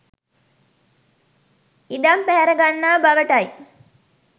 ඉඩම් පැහැර ගන්නා බවටයි